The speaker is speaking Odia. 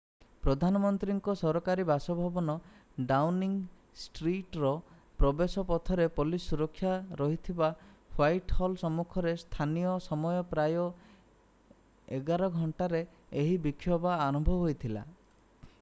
ପ୍ରଧାନମନ୍ତ୍ରୀଙ୍କ ସରକାରୀ ବାସଭବନ ଡାଉନିଂ ଷ୍ଟ୍ରିଟ୍‌ର ପ୍ରବେଶ ପଥରେ ପୋଲିସ୍ ସୁରକ୍ଷା ରହିଥିବା ହ୍ୱାଇଟ୍ ହଲ୍ ସମ୍ମୁଖରେ ସ୍ଥାନୀୟ ସମୟ ପ୍ରାୟ 11:00 utc+1ରେ ଏହି ବିକ୍ଷୋଭ ଆରମ୍ଭ ହୋଇଥିଲା।